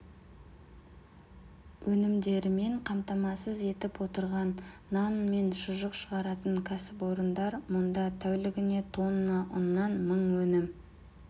өнімдерімен қамтамасыз етіп отырған нан мен шұжық шығаратын кәсіпорындар мұнда тәулігіне тонна ұннан мың өнім